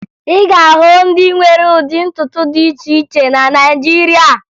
Ị ga-ahụ ndị nwere ụdị ntutu dị iche iche na Naịjirịa